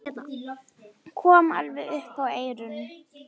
Kom alveg upp að eyranu.